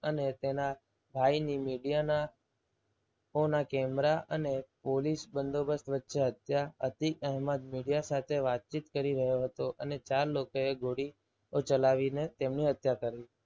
અને તેના ભાઈની મીડિયાના હોના કેમેરા અને પોલીસ બંદોબસ્ત વચ્ચે હત્યા. અતિ અહેમદ media સાથે વાતચીત કરી રહ્યો હતો. અને ચાર લોકોએ ગોળીઓ ચલાવીને તેમની હત્યા કરી.